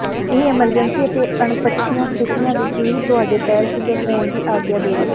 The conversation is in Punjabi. ਇਹ ਐਮਰਜੈਂਸੀ ਅਤੇ ਅਣਪੱਛੀਆਂ ਸਥਿਤੀਆਂ ਵਿੱਚ ਵੀ ਤੁਹਾਡੇ ਪੈਰ ਸੁੰਦਰ ਹੋਣ ਦੀ ਆਗਿਆ ਦੇਵੇਗਾ